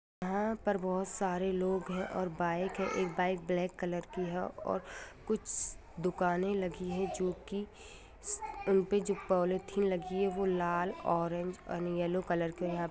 यहाँ पर बहुत सारे लोग हैं और बाइक है एक बाइक ब्लैक कलर की है और कुछ दुकानें लगी है जो कि उन पे जो पॉलिथीन लगी है वह लाल ऑरेंज और येलो कलर के यहाँ --